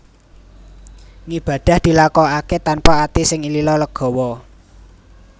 Ngibadah dilakokaké tanpa ati sing lila legawa